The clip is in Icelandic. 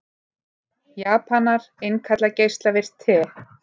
Japanar innkalla geislavirkt te